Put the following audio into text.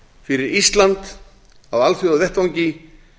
fyrir ísland á alþjóðavettvangi